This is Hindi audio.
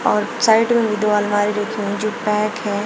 और साइड में दो अलमारी लगी हुई है जो पैक है।